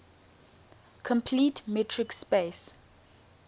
complete metric space